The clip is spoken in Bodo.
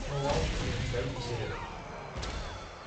न'आव फैफिनबाय बिसोरो।